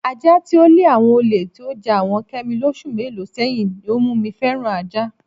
Aja tí ó le àwo̩n olè tí ó ja àwo̩n Ké̩mi lós̩ù mélòó sé̩yìn ní ó mú mi fé̩ran ajá.